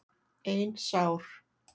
Ein sár.